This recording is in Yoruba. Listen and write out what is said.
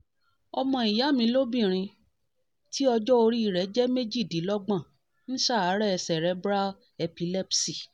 ọmọ ìyá mi lóbìnrin tí ọjọ́-orí rẹ̀ rẹ̀ jẹ́ méjìdínlógbon ń ṣàárẹ̀ cerebral epilepsy